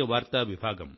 అంతులేని ఆనందాన్ని ఇస్తోంది